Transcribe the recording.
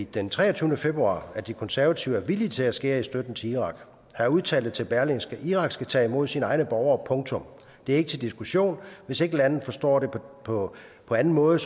den treogtyvende februar at de konservative er villige til at skære i støtten til irak han udtalte til berlingske irak skal tage imod sine egne borgere punktum det er ikke til diskussion hvis ikke landet forstår det på anden måde